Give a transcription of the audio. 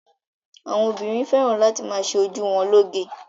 Àwọn obìnrin fẹ́ràn láti ma ṣe ojú wọn lóge.